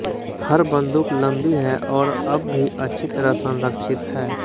हर बन्दूक लम्बी है और अब भी अच्छी तरह संरक्षित है